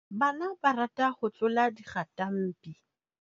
Bana ba rata ho tlola dikgatampi.